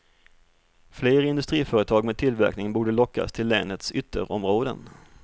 Fler industriföretag med tillverkning borde lockas till länets ytterområden.